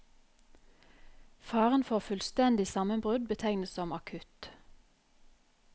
Faren for fullstendig sammenbrudd betegnes som akutt.